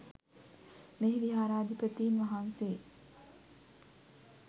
මෙහි විහාරාධිපතීන් වහන්සේ